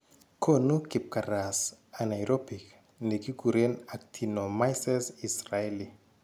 Koonu kibkaras anaerobic ne kikuren actinomyces israeli